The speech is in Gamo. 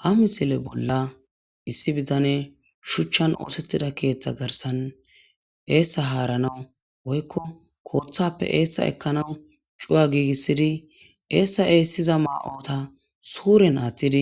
Ha misile bolla issi bitaney shuchan osetida keetha garsan eesa haranaw woykko kothappe eesa ekanaw cuwa giigisid esiza mayota suren athid